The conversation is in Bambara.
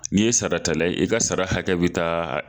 N'i ye saratala ye i ka sara hakɛ bi taa